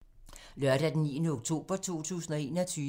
Lørdag d. 9. oktober 2021